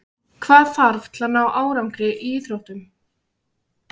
Hvað þarf til að ná árangri í íþróttum?